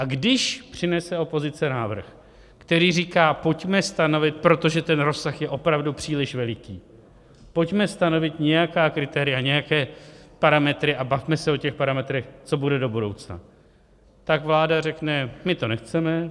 A když přinese opozice návrh, který říká, pojďme stanovit - protože ten rozsah je opravdu příliš veliký - pojďme stanovit nějaká kritéria, nějaké parametry a bavme se o těch parametrech, co bude do budoucna, tak vláda řekne: My to nechceme.